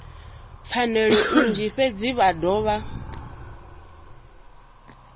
pfanelo nnzhi fhedzi vha dovha